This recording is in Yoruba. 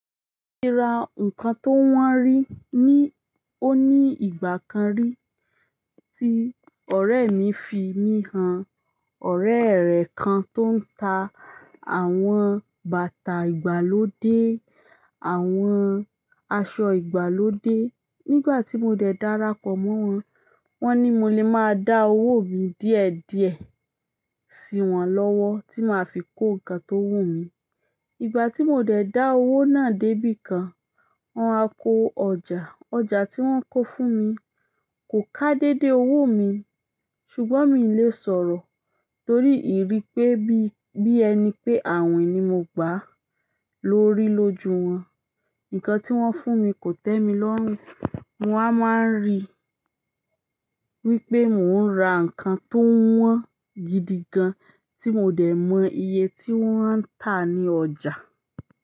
Mo ti ra nǹkan tó wọ́n rí ní ó ní ìgbà kan rí tí ọ̀rẹ́ mi fi mí han. Ọ̀rẹ́ rẹ̀ kan tó ń ta àwọn bàtà ìgbàlódé, àwọn aṣọ ìgbàlódé. Nígbà ti mo dẹ darapọ̀ mọ wọn, wọn ni mo le maa da owo mi díẹ̀díẹ̀ siwọn lọwọ ti ma fi ko nǹkan to wumi. Ìgbà tí mo dẹ̀ dá owó náà dé bí i kan, wọ́n wá ko ọjà. Ọjà tí wọ́n kó fún mi kò ká dédé owó mi ṣùgbọ́n mi ò lè sọ̀rọ̀ torí ìrí pé bí i ẹni pé àwìn ni mo gbà lórí lójú wọn. Nǹkan tí wọ́n fún mi kò tẹ́mi lọ́rùn. Mo wá máa ń rí wípé mo n ra nǹkan to wọn gidi gan ti mo dẹ mọ iye ti wọn n ta ni ọjà.